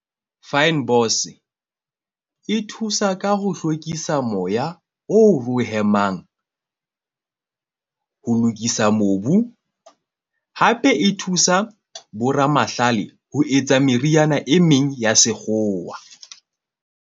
Fynbos e thusa ka ho hlwekisa moya o ro hemang ho lokisa mobu. Hape e thusa bo ramahlale ho etsa meriana e meng ya sekgowa.